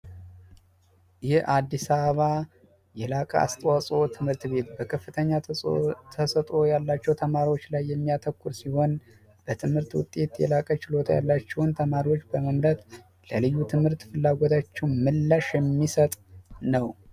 የአዲስ አበባ አስተዋጽኦ ትምህርት ቤት በከፍተኛ ተሰጥዖ ያላቸው ተማሪዎች ላይ የሚያተኩር ሲሆን በትምህርት ውጤት የላቀ ችሎታ ያላቸውን ተማሪዎች በመንፈስ ለልዩ ትምህርት ፍላጎታቸው ምላሽ የሚሰጥ ነው